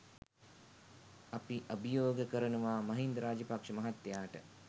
අපි අභියෝග කරනවා මහින්ද රාජපක්ෂ මහත්තයාට